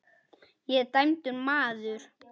Ég er dæmdur maður.